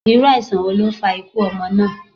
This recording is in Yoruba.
Iru aisan wo lo fa ikú ọmọ na?